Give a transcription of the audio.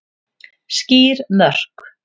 Skýr mörk